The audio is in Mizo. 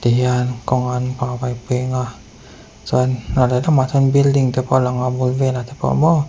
ti hian kawngan peng a chuan ral lehlamah te chuan building te pawh a lang a a bul velah te pawh maw --